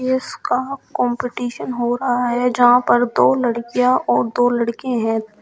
Race का competition हो रहा है जहां पर दो लड़कियां और दो लड़के हैं।